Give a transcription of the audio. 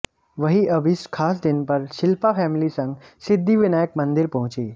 वहीं अब इस खास दिन पर शिल्पा फैमिली संग सिद्धिविनायक मंदिर पहुंची